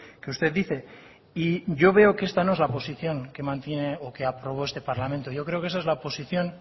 que usted dice y yo veo que esta no es la posición que mantiene o que aprobó este parlamento yo creo que esa es la posición